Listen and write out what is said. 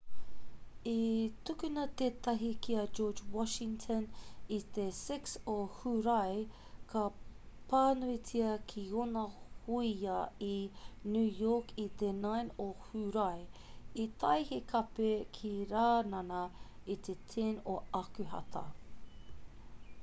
i tukuna tētahi ki a george washington i te 6 o hūrae ka pānuitia ki ōna hōia i new york i te 9 o hūrae i tae he kape ki rānana i te 10 o akuhata